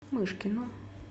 мышкину